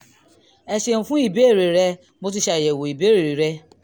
o ṣeun fún ìbéèrè rẹ mo ti ṣe àyẹ̀wò ìbéèrè rẹ